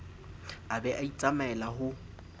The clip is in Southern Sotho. a be a itsamaele ho